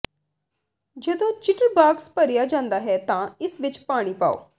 ਜਦੋਂ ਚਿਟਰਬਾਕਸ ਭਰਿਆ ਜਾਂਦਾ ਹੈ ਤਾਂ ਇਸ ਵਿੱਚ ਪਾਣੀ ਪਾਓ